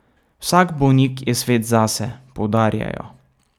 Vsak bolnik je svet zase, poudarjajo.